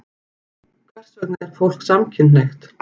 Hvers vegna er fólk samkynhneigt?